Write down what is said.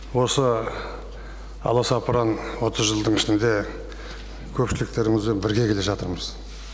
осы аласапыран отыз жылдың ішінде көпшіліктеріңізбен бірге келе жатырмыз